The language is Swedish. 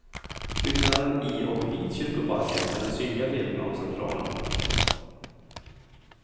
Byggnaden i och vid kyrkoparken är den synliga delen av centralen.